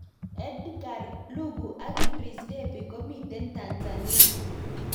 Edgar lungu ak Idris debby komiten Tanzania